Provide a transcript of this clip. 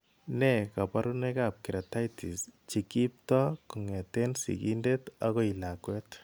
Nee kabarunoikab Keratitis che kiipto kong'etke sigindet akoi lakwet?